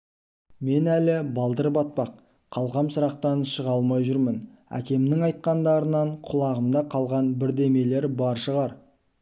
мен әлі балдыр-батпақ қалқам-шырақтан шыға алмай жүрмін әкемнің айтқандарынан құлағымда қалған бірдемелер бар шығар